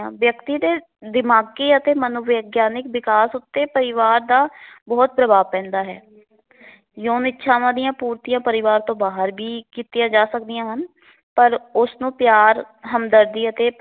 ਵਿਅਕਤੀ ਦੇ ਦਿਮਾਗੀ ਅਤੇ ਮਨੋਵਿਗਿਆਨਿਕ ਵਿਕਾਸ ਉਤੇ ਪਰਿਵਾਰ ਦਾ ਬਹੁਤ ਪ੍ਰਭਾਵ ਪੈਂਦਾ ਹੈ। ਯੋਨ ਇਛਾਵਾਂ ਦੀਆ ਪੂਰਤੀਆਂ ਪਰਿਵਾਰ ਤੋਂ ਬਾਹਰ ਵੀ ਕੀਤੀਆਂ ਜਾ ਸਕਦੀਆਂ ਹਨ ਪਰ ਉਸ ਨੂੰ ਪਿਆਰ, ਹਮਦਰਦੀ ਅਤੇ